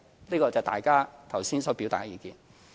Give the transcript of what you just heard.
這是大家剛才所表達的意見。